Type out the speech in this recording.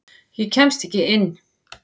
Ég kemst ekki inn.